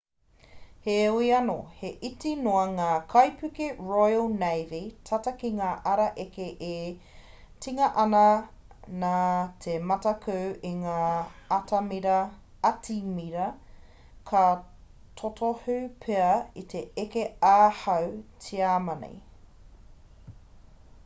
heoi anō he iti noa ngā kaipuke royal navy tata ki ngā ara eke e tinga ana nā te mataku a ngā atimira ka totohu pea i te eke ā-hau tiamani